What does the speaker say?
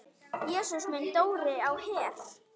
Jesús minn, Dóri á Her!